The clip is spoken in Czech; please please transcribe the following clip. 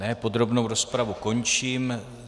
Ne, podrobnou rozpravu končím.